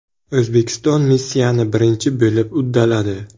O‘zbekiston missiyani birinchi bo‘lib uddaladi.